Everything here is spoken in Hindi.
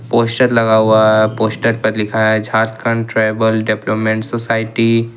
पोस्टर लगा हुआ है पोस्टर पर लिखा है झारखंड ट्रैवल डेप्टोमेंट सोसाइटी ।